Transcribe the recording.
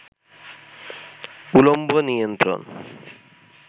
উলম্ব নিয়ন্ত্রণ